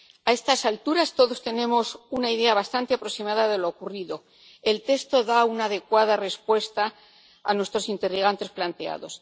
A estas alturas, todos tenemos una idea bastante aproximada de lo ocurrido el texto da una adecuada respuesta a nuestros interrogantes planteados.